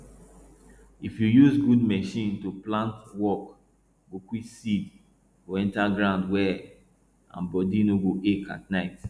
if you use good machine to plant work go quick seed go enter ground well and body no go ache at night